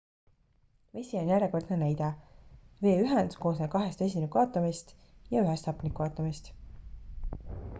vesi on järjekordne näide vee ühend koosneb kahest vesiniku aatomist ja ühest hapniku aatomist